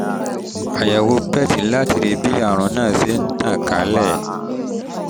àyẹ̀wò pet láti rí bí àrùn bí àrùn náà ṣe ń tàn kálẹ̀